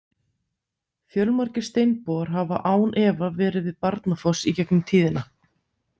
Fjölmargir steinbogar hafa án efa verið við Barnafoss í gegnum tíðina.